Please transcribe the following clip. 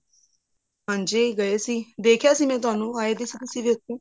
ਹਾਂਜੀ ਗਏ ਸੀ ਦੇਖਿਆ ਸੀ ਮੈਂ ਤੁਹਾਨੂੰ ਆਏ ਤਾਂ ਸੀ ਤੁਸੀਂ ਉੱਥੇ